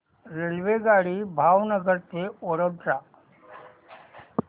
रेल्वेगाडी भावनगर ते वडोदरा